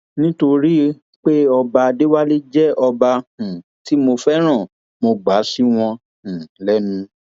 nítorí pé ọba adéwálé jẹ ọba um tí mo fẹràn mo gbà sí wọn um lẹnu